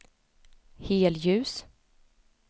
helljus